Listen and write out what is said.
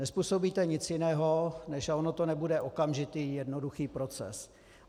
Nezpůsobíte nic jiného než - a on to nebude okamžitý jednoduchý proces.